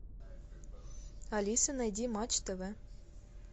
алиса найди матч тв